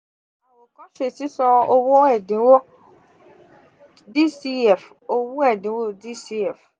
má ṣe sisan owo ẹdinwo dcf owo ẹdinwo dcf